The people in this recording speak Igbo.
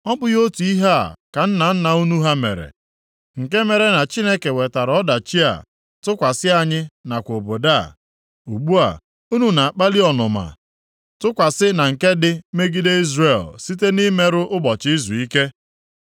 Ọ bụghị otu ihe a ka nna nna unu ha mere, nke mere na Chineke wetara ọdachi a tụkwasị anyị nakwa obodo a? Ugbu a, unu na-akpali ọnụma tụkwasị na nke dị megide Izrel site nʼimerụ ụbọchị izuike?”